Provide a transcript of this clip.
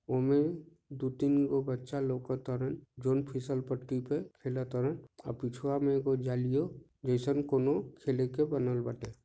उमे दु तीन गो बच्चा लोकातारन जोन फिसल पट्टी पे खेला तरन अब पिछुवा में एगो जालियो जैसे खेले के कोनो बनल बाटे।